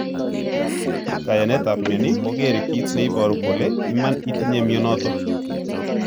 Kanayetap mioni kogere kit ne iporu kole iman itinye mionoton.